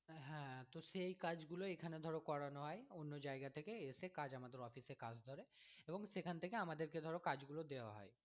হ্যাঁ, তো সেই কাজগুলো এখানে ধরো করানো হয় অন্য জায়গা থেকে এসে কাজ আমাদের office এ কাজ ধরে, এবং সেখান থেকে আমাদেরকে ধরো কাজগুলো দেওয়া হয়।